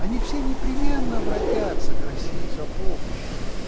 они все непременно обратятся к россии за помощью